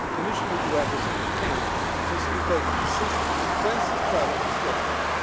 The Commission will do everything it can to facilitate and assist in the intensive trialogue discussions